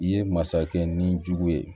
I ye masakɛ ni jugu ye